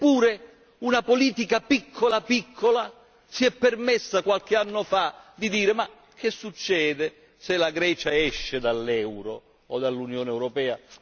Eppure una politica piccola piccola si è permessa qualche anno fa di dire Ma che succede se la Grecia esce dall'Euro o dall'Unione europea?